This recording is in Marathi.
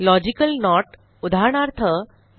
logical note उदाहरणार्थ160